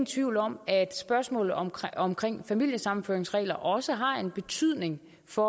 tvivl om at spørgsmålet om familiesammenføringsregler også har en betydning for